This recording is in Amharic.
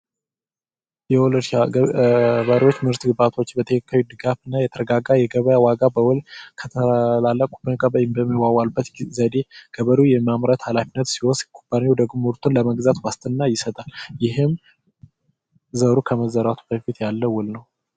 የለባሪዎች ምርት ግባቶች በተክካዊ ድጋፍ እና የተረጋጋ የገበ ዋጋ በውል ከተላለ ኩበንካበበሚዋዋልበት ዘዴ ገበሩ የማምረት ሃላፊነት ሲወስ ኩባኒው ደግም ውርቱን ለመግዛት ዋስትና ይሰጣል ይህም ዘሩ ከመዘራቱ በፊት ያለ ውል ነው፡፡